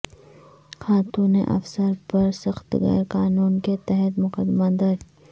خاتون افسر پر سخت گیر قانون کے تحت مقدمہ درج